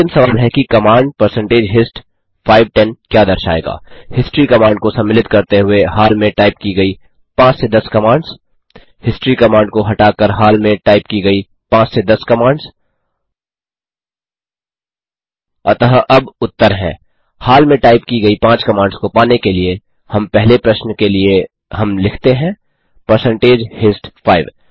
और अंतिम सवाल है कि कमांड परसेंटेज हिस्ट 5 10 क्या दर्शाएगा हिस्ट्री कमांड को सम्मिलित करते हुए हाल में टाइप की गयी 5 से 10 कमांड्स हिस्ट्री कमांड को हटाकर हाल में टाइप की गयी 5 से 10 कमांड्स अतः अब उत्तर हैं हाल में टाइप की गयी 5 कमांड्स को पाने के लिए हम पहले प्रश्न के लिए हम लिखते हैं परसेंटेज हिस्ट 5